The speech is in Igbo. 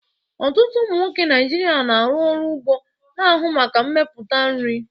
Ọtụtụ ụmụ nwoke Naijiria na-arụ ọrụ ugbo, na-ahụ maka mmepụta nri.